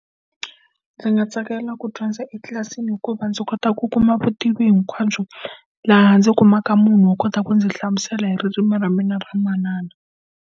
Ndzi nga tsakela ku dyondza etlilasini hikuva ndzi kota ku kuma vutivi hinkwabyo laha ndzi kumaka munhu wo kota ku ndzi hlamusela hi ririmi ra mina ra manana.